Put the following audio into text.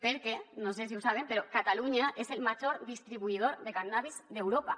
perquè no sé si ho saben però catalunya és el major distribuïdor de cànnabis d’europa